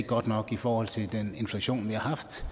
godt nok i forhold til den inflation vi har haft